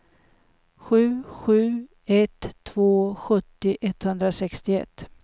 sju sju ett två sjuttio etthundrasextioett